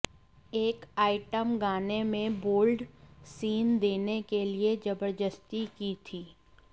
एक आइटम गाने में बोल्ड सीन देने के लिए जबरदस्ती की थी